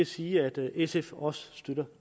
sige at sf også støtter